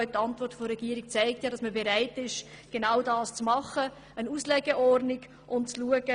Die Antwort der Regierung zeigt, dass sie bereit ist, dies zu tun.